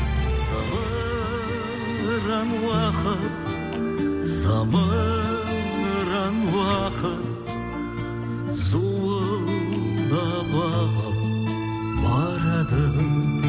зымыран уақыт зымыран уақыт зуылдап ағып барады